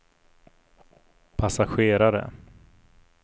passagerare